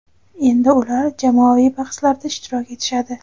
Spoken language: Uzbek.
endi ular jamoaviy bahslarda ishtirok etishadi.